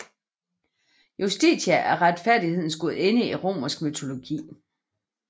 Justitia er retfærdighedens gudinde i romersk mytologi